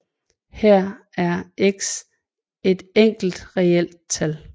Her er x et enkelt reelt tal